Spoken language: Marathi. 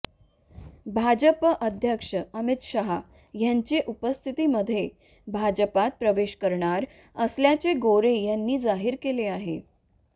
भाजप अध्यक्ष अमित शहा यांच्या उपस्थितीमध्ये भाजपात प्रवेश करणार असल्याचं गोरे यांनी जाहीर केले आहे